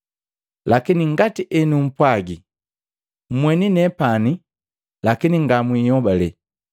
Lakini ngati enumpwagi mmweni nepani lakini ngamwihobalele.